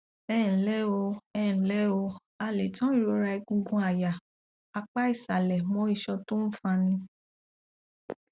ẹǹlẹ o ẹǹlẹ o a lè tan ìrora egungun àyà apá ìsàlẹ mọ iṣan tó ń fani